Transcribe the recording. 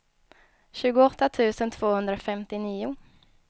tjugoåtta tusen tvåhundrafemtionio